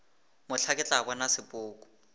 mohla ke tla bona sepoko